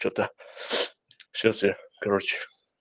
что-то сейчас я короче